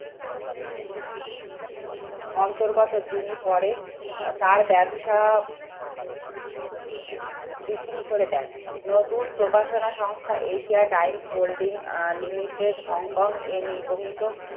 অন্তর্গত যিনি পরে তার ব্যবসা বিক্রি করে দেয় নতুন প্রকাশনা সংস্থা Asia times holding ah limited Hong কং